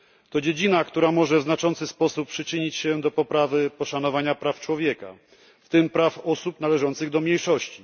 To dziedzina, która może w znaczący sposób przyczynić się do poprawy szanowania praw człowieka, w tym praw osób należących do mniejszości.